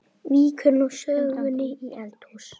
Víkur nú sögunni í eldhús.